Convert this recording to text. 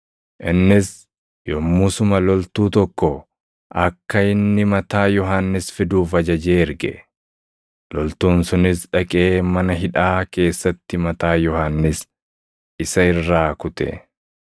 Innis yommusuma loltuu tokko akka inni mataa Yohannis fiduuf ajajee erge. Loltuun sunis dhaqee mana hidhaa keessatti mataa Yohannis isa irraa kute;